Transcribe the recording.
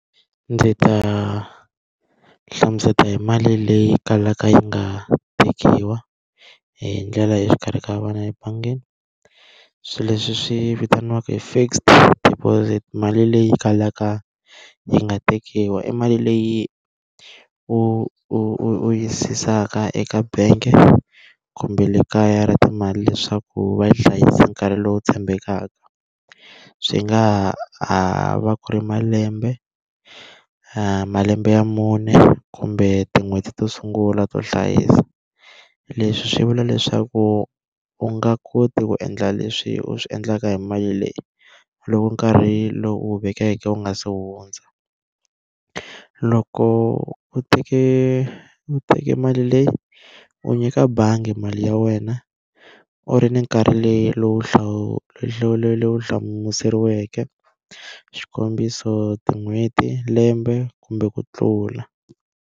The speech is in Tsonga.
Ndzi ta hlamusela hi mali leyi kalaka yi nga tekiwa hi ndlela leyi exikarhi ka ebangini. Swilo leswi swi vitaniwaku hi fixed deposit mali leyi kalaka yi nga tekiwa i mali leyi u u u u yisaka eka bank-e kumbe le kaya ra timali leswaku va hlayisa nkarhi lowu tshembekaka. Swi nga ha ha va ku ri malembe, malembe ya mune kumbe tin'hweti to sungula to hlayisa. Leswi swi vula leswaku u nga koti ku endla leswi u swi endlaka hi mali leyi, loko nkarhi lowu u wu vekeke u nga se hundza. Loko u teke u teke mali leyi, u nyika bangi mali ya wena, u ri ni nkarhi leyi lowu hlamuseriweke xikombiso tin'hweti lembe kumbe ku tlula.